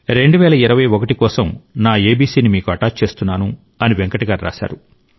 2021 కోసం నా ఎబిసిని మీకు అటాచ్ చేస్తున్నాను అని వెంకట్ గారు రాశారు